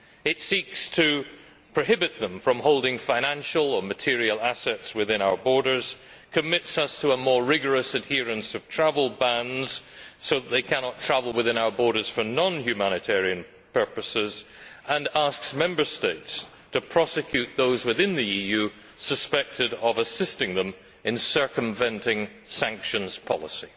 It seeks to prohibit them from holding financial and material assets within our borders, commits us to a more rigorous adherence of travel bans so that they cannot travel within our borders for non humanitarian purposes, and asks Member States to prosecute those within the EU suspected of assisting them in circumventing sanctions policy.